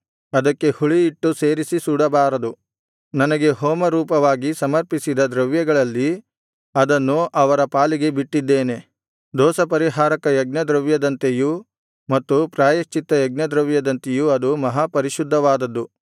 ಅದಕ್ಕೆ ಹುಳಿಹಿಟ್ಟು ಸೇರಿಸಿ ಸುಡಬಾರದು ನನಗೆ ಹೋಮರೂಪವಾಗಿ ಸಮರ್ಪಿಸಿದ ದ್ರವ್ಯಗಳಲ್ಲಿ ಅದನ್ನು ಅವರ ಪಾಲಿಗೆ ಬಿಟ್ಟಿದ್ದೇನೆ ದೋಷಪರಿಹಾರಕ ಯಜ್ಞದ್ರವ್ಯದಂತೆಯೂ ಮತ್ತು ಪ್ರಾಯಶ್ಚಿತ್ತ ಯಜ್ಞದ್ರವ್ಯದಂತೆಯೂ ಅದು ಮಹಾಪರಿಶುದ್ಧವಾದದ್ದು